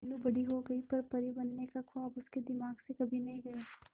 मीनू बड़ी हो गई पर परी बनने का ख्वाब उसके दिमाग से कभी नहीं गया